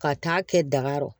Ka taa kɛ daga rɔ